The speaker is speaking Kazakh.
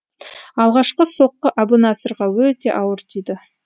алғашқы соққы әбунасырға өте ауыр тиді